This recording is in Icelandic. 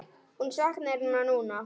Hún saknar hennar núna.